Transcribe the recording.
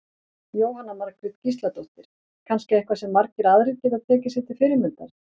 Jóhanna Margrét Gísladóttir: Kannski eitthvað sem margir aðrir geta tekið sér til fyrirmyndar?